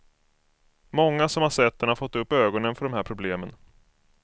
Många som har sett den har fått upp ögonen för de här problemen.